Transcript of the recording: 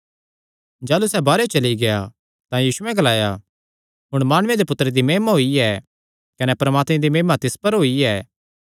जाह़लू सैह़ बाहरेयो चली गेआ तां यीशुयैं ग्लाया हुण माणुये दे पुत्तरे दी महिमा होई ऐ कने परमात्मे दी महिमा तिस च होई ऐ